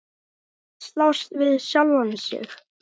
Að slást við sjálfan sig.